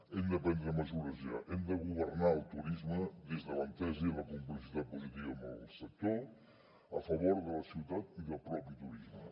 hem de prendre mesures ja hem de governar el turisme des de l’entesa i la complicitat positiva amb el sector a favor de la ciutat i del propi turisme